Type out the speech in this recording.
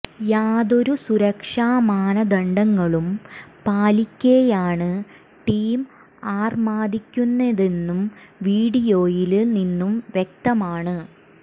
യാതൊരു സുരക്ഷാ മാനദണ്ഡങ്ങളും പാലിക്കെയാണ് ടീം ആര്മാദിക്കുന്നതെന്നു വീഡിയോയില് നിന്നു വ്യക്തമാണ്